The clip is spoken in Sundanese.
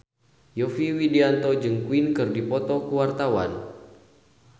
Yovie Widianto jeung Queen keur dipoto ku wartawan